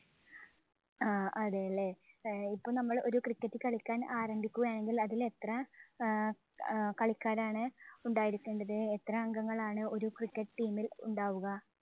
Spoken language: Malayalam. ആഹ് അതേല്ലേ, ഏർ ഇപ്പം നമ്മള് cricket കളിയ്ക്കാന്‍ ആരംഭിക്കുകയാണെങ്കില്‍ അതില്‍ എത്ര ആഹ് കളിക്കാരാണ് ഉണ്ടായിരിക്കേണ്ടത്. ഏർ എത്ര അംഗങ്ങളാണ് ഒരു cricket team ഇല്‍ ഉണ്ടാവുക.